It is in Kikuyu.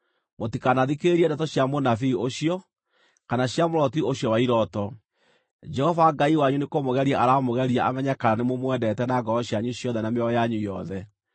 mũtikanathikĩrĩrie ndeto cia mũnabii ũcio, kana cia mũroti ũcio wa irooto; Jehova Ngai wanyu nĩkũmũgeria aramũgeria amenye kana nĩmũmwendete na ngoro cianyu ciothe na mĩoyo yanyu yothe.